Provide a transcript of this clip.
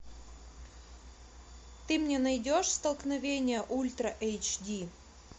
ты мне найдешь столкновение ультра эйч ди